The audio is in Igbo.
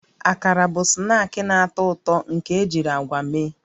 Akara bụ snaakị na-atọ ụtọ nke ejiri agwa mee